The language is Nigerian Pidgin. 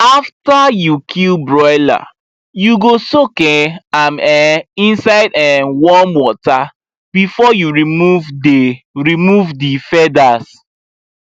after you kill broiler you go soak um am um inside um warm water before you remove the remove the feathers